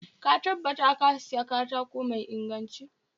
Ka tabbata Ka Siya katako mai inganci